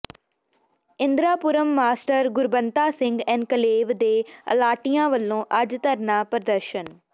Indirapuram master Gurbanta Singh enclave ਦੇ ਅਲਾਟੀਆਂ ਵਲੋਂ ਅੱਜ ਧਰਨਾ ਪ੍ਰਦਰਸ਼ਨ